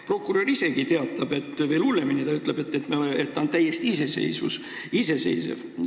Prokurör ise teatab veel hullemini: ta ütleb, et ta on täiesti iseseisev.